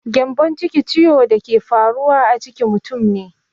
Gyambonciki ciwon da ke faruwa a ciki mutum ne.